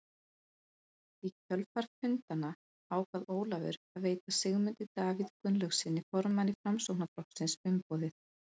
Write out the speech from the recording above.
Í kjölfar fundanna ákvað Ólafur að veita Sigmundi Davíð Gunnlaugssyni, formanni Framsóknarflokksins, umboðið.